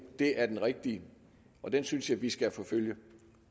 er den rigtige og den synes jeg vi skal forfølge